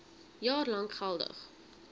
jaar lank geldig